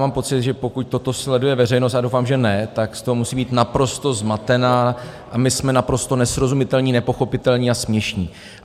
Mám pocit, že pokud toto sleduje veřejnost - a doufám, že ne - tak z toho musí být naprosto zmatená, a my jsme naprosto nesrozumitelní, nepochopitelní a směšní.